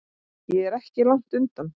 Ég er ekki langt undan.